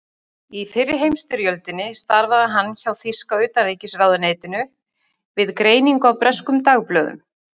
Í fyrri heimsstyrjöldinni starfaði hann hjá þýska utanríkisráðuneytinu við greiningu á breskum dagblöðum.